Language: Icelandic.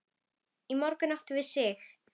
Í morgun áttum við Sig.